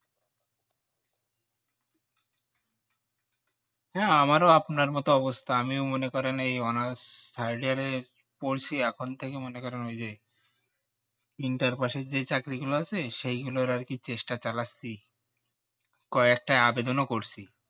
হ্যাঁ আমার ও আপনার মতো অবস্থা আমিও মনে করেন এই honours third year এ পড়ছি এখন থেকে মনে করেন ওই যে inter-pass এর যে চাকরি গুলো আছে সেই গুলোর আর কি চেষ্টা চালাচ্ছি কয়েকটা আবেদন ও করছি